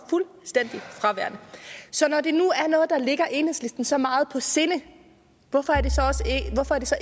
fuldstændig fraværende så når det nu er noget der ligger i enhedslisten så meget på sinde hvorfor er det så